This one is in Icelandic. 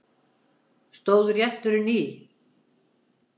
Stóð rétturinn í